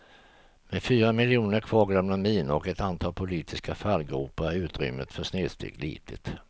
Med fyra miljoner kvarglömda minor och ett antal politiska fallgropar är utrymmet för snedsteg litet. punkt